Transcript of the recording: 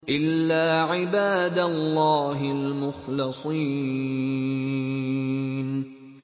إِلَّا عِبَادَ اللَّهِ الْمُخْلَصِينَ